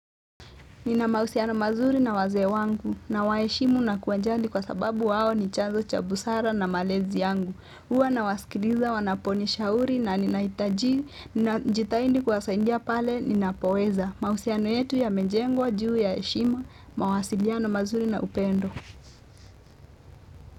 Nina mahusiano mazuri na wazee wangu na nawaheshimu na kuwajali kwa sababu wao ni chanzo cha busara na malezi yangu. Huwa na wasikiliza, wanaponishauri na ninaitaji, jitahidi kuwasaidia pale ninapoweza. Mahusiano yetu ya mejengwa, juu heshima, mawasiliano mazuri na upendo.